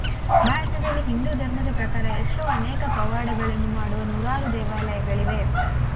ಭಾರತದಲ್ಲಿ ಹಿಂದು ಧರ್ಮದ ಪ್ರಕಾರ ಎಷ್ಟೋ ಅನೇಕ ಪವಾಡಗಳನ್ನು ಮಾಡುವ ನೂರಾರು ದೇವಾಲಯಗಳಿವೆ